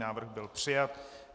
Návrh byl přijat.